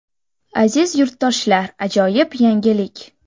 Aziz yurtdoshlar ajoyib yangilik!